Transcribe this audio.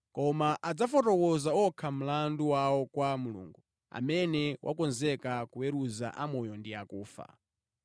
Koma adzafotokoza okha mlandu wawo kwa Mulungu amene wakonzeka kuweruza amoyo ndi akufa.